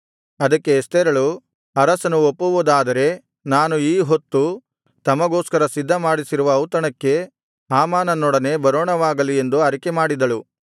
ಅದಕ್ಕೆ ಎಸ್ತೇರಳು ಅರಸನು ಒಪ್ಪುವುದಾದರೆ ನಾನು ಈಹೊತ್ತು ತಮಗೋಸ್ಕರ ಸಿದ್ಧಮಾಡಿಸಿರುವ ಔತಣಕ್ಕೆ ಹಾಮಾನನೊಡನೆ ಬರೋಣವಾಗಲಿ ಎಂದು ಅರಿಕೆಮಾಡಿದಳು